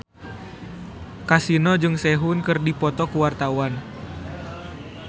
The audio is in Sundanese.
Kasino jeung Sehun keur dipoto ku wartawan